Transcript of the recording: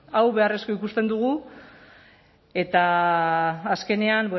hau beharrezkoa ikusten dugu eta azkenean